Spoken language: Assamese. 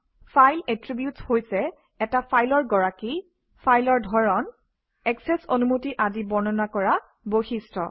ফাইল এট্ৰ্ৰিবিউট হৈছে এটা ফাইলৰ গৰাকী ফাইলৰ ধৰণ একচেচ অনুমতি আদি বৰ্ণনা কৰা বৈশিষ্ট্য